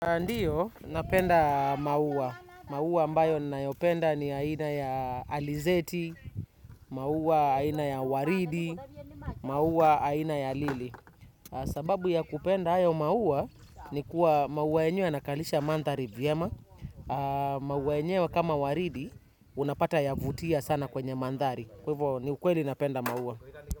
Ndio napenda maua. Maua ambayo ninayopenda ni aina ya alizeti, maua aina ya waridi, maua aina ya lili. Sababu ya kupenda hayo maua ni kuwa maua yenyewe yanakalisha mandhari vyema. Maua yenyewe kama waridi unapata yavutia sana kwenye mandhari. Kwa hivo ni ukweli napenda maua.